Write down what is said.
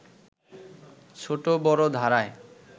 ছোট বড় ধারায়